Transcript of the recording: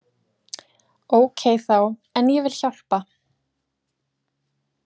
Ókei þá, en ég vil hjálpa.